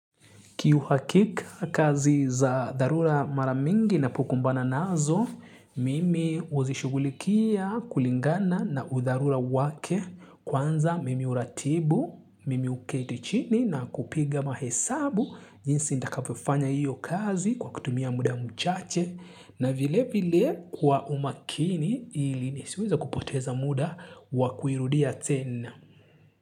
Kiuhakika kazi za dharura maramingi na pokumbana nazo, mimi huzishugulikia kulingana na udharura wake kwanza mimi huratibu, mimi huketichini na kupiga mahesabu jinsi ndakavyo fanya iyo kazi kwa kutumia muda mchache na vile vile kwa umakini ili nisiweza kupoteza muda wakuirudia tena.